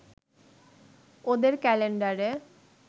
ওদের ক্যালেন্ডারে